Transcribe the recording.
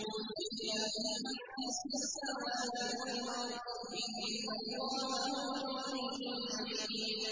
لِلَّهِ مَا فِي السَّمَاوَاتِ وَالْأَرْضِ ۚ إِنَّ اللَّهَ هُوَ الْغَنِيُّ الْحَمِيدُ